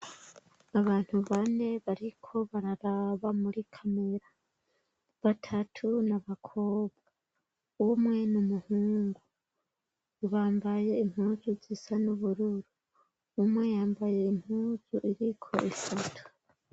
Abantu bane bariko bararaba muri kamera batatu nabakobwa umwe n' umuhungu ibambaye impuzu zisa n'ubururu umwe yambaye impuzu iriko isatu.